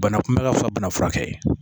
Bana kunbɛ ka fisa bana furakɛ ye